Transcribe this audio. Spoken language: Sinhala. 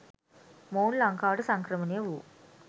මොවුන් ලංකාවට සංක්‍රමණය වූ